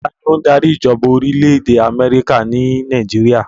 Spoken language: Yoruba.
Ta ni ó ń darí ìjọba orílẹ̀ èdè Amẹ́ríkà ní Nàìjíríà?